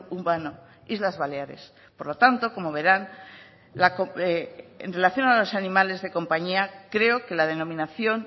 humano islas baleares por lo tanto como verán en relación a los animales de compañía creo que la denominación